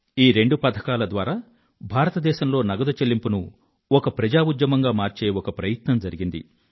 ఈ రెండు పథకాల ద్వారా భారతదేశంలో నగదు చెల్లింపును ఒక ప్రజా ఉద్యమంగా మార్చే ఒక ప్రయత్నం జరిగింది